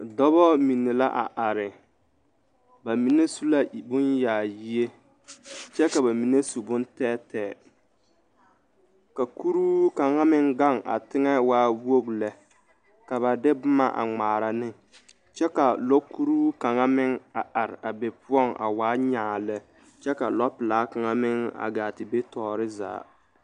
Dɔba mine la a are ba mine su la bonyaayie kyɛ ka ba mine su bontɛɛtɛɛ ka kuruu kaŋ meŋ gaŋ a teŋɛ waa wogi lɛ ka ba de boma a ŋmaara ne kyɛ ka lɔɔkuruu kaŋ meŋ a are a be poɔŋ a wa nyaa lɛ kyɛ ka lɔɔpelaa kaŋa meŋ a gaa te be tɔɔre zaa.